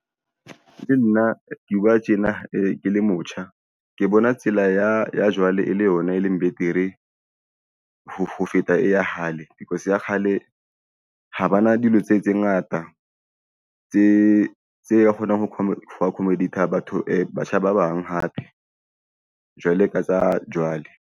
Nna ke bua tjena ke le motjha ke bona tsela ya jwale e le yona e leng betere ho feta e ya hale because ya kgale ha bana dilo tse ngata tse kgonang ho accommodate-a batho batjha ba bang hape jwale ka tsa jwale.